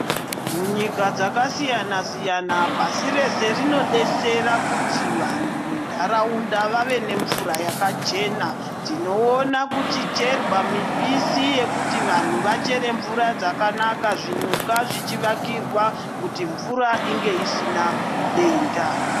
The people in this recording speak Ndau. Munyika dzakasiyana siyana pasi rese rinodetsera kuti vantu mundaraunda vave nemvura yakachena Kuona kucherwa muoisi kuti vantu vachere mvura zvakanaka zvinyuka zvichivakirwa kuti mvura inge isina denda.